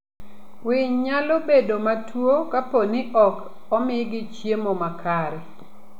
Winy nyalo bedo matuwo kapo ni ok omigi chiemo makare.